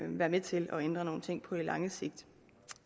være med til at ændre nogle ting på det lange sigt